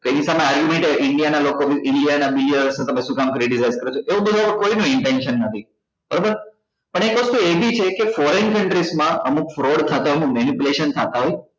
argument હોય india ના લોકો તમે શુ કામ એવુ બધું કોઈ નું intention નથી બરોબર પણ એક વસ્તુ એ બી છે કે foreign countries માં અમુક fraud ખાતા ઓ માં manipulation થતા હોય